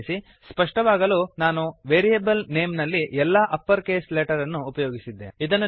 ಗಮನಿಸಿ ಸ್ಪಷ್ಟವಾಗಲು ನಾನು ವೇರಿಯೇಬಲ್ ನೇಮ್ ನಲ್ಲಿ ಎಲ್ಲಾ ಅಪ್ಪರ್ ಕೇಸ್ ಲೆಟರ್ ಅನ್ನು ಉಪಯೋಗಿಸಿದ್ದೇನೆ